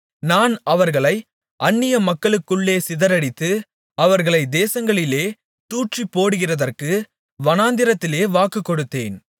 நான் அவர்களைப் அந்நியமக்களுக்குள்ளே சிதறடித்து அவர்களை தேசங்களிலே தூற்றிப்போடுகிறதற்கு வனாந்திரத்திலே வாக்கு கொடுத்தேன்